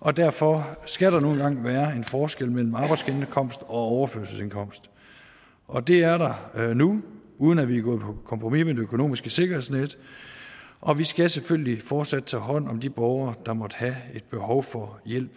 og derfor skal der nu engang være en forskel mellem arbejdsindkomst og overførselsindkomst og det er der nu uden at vi er gået på kompromis med det økonomiske sikkerhedsnet og vi skal selvfølgelig fortsat tage hånd om de borgere der måtte have et behov for hjælp